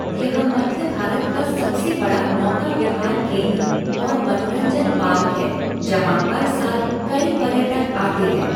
यह मध्य भारत का सबसे बड़ा नौका विहार केंद्र और मनोरंजन पार्क है जहाँ हर साल कई पर्यटक आते हैं।